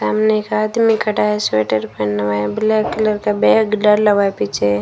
सामने एक आदमी खड़ा है स्वेटर पहना हुआ है ब्लैक कलर का बैग डाला हुआ है पीछे --